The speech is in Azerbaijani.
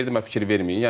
deyirəm fikir verməyin.